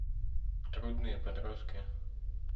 трудные подростки